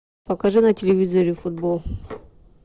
покажи на телевизоре футбол